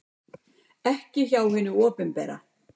Ekki hjá hinu opinbera.